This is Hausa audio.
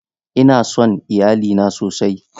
Ina son iyalina sosai.